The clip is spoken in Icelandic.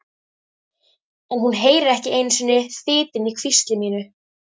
En hún heyrir ekki einu sinni þytinn í hvísli mínu.